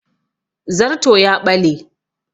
Zarto ya ɓale